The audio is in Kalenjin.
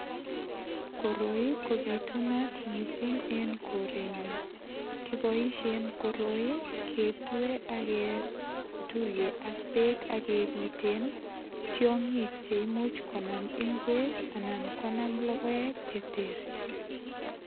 Koroi kobitunat mising eng korenyon kiboishen koroi ketue aketuye ak beek akebiten tiong'ik che imuch konam ing'wek anan konam lokoek cheterterchin.